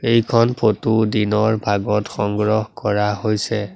এইখন ফটো দিনৰ ভাগত সংগ্ৰহ কৰা হৈছে।